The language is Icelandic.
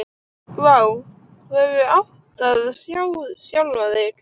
Vá, þú hefðir átt að sjá sjálfan þig.